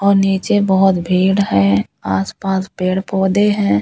और नीचे बहुत भीड़ है आसपास पेड़ पौधे हैं।